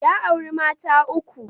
Ya auri mata uku.